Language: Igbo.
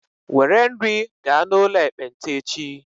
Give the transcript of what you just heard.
Were nri gaa n'ụlọ ekpenta echi!